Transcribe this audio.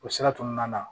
O sira kɔnɔna na